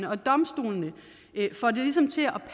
og domstolene får det ligesom til at